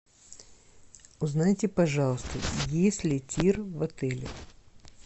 узнайте пожалуйста есть ли тир в отеле